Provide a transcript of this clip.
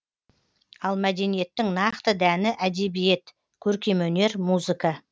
ал мәдениеттің нақты дәні әдебиет көркемөнер музыка